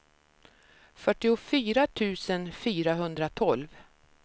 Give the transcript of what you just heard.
fyrtiofyra tusen fyrahundratolv